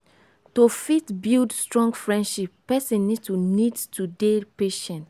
to fit build strong friendship person need to need to dey patient